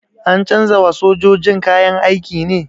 An canza wa sojojin kayan aiki ne?